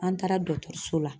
An taara dɔkɔtɔrɔso la